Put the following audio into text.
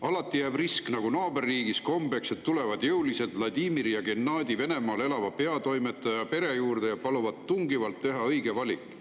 Alati jääb risk, nagu naaberriigis kombeks, et tulevad jõulised Vladimir ja Gennadi Venemaal elava peatoimetaja pere juurde ja paluvad tungivalt teha õige valik.